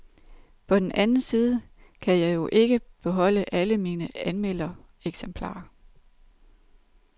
På den anden side kan jeg jo ikke beholde alle mine anmeldereksemplarer.